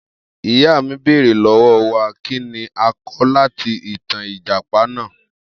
Iya mi beere lọwọ wa kini a kọ lati itan ijapa naa